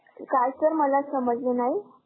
काय Sir? मला समजलं नाही.